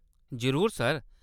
जरूर, सर।